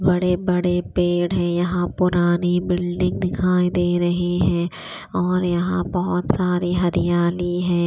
बड़े बड़े पेड़ है यहां पुरानी बिल्डिंग दिखाई दे रही है और यहां बहोत सारे हरियाली है।